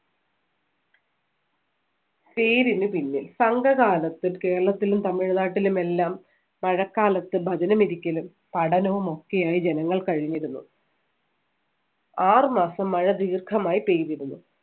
പേരിന് പിന്നിൽ സംഘകാലത്ത് കേരളത്തിലും തമിഴ്നാട്ടിലും എല്ലാം മഴക്കാലത്ത് ഭജനമിരിക്കലും പഠനവും ഒക്കെയായി ജനങ്ങൾ കഴിഞ്ഞിരുന്നു. ആറ് മാസം മഴ ദീർഘമായി പെയ്തിരുന്നു.